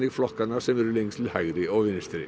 flokkana sem eru lengst til hægri og vinstri